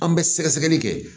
An bɛ sɛgɛsɛgɛli kɛ